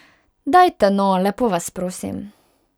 Dajte, no, lepo vas prosim.